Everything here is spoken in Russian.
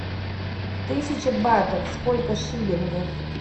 тысяча батов сколько шиллингов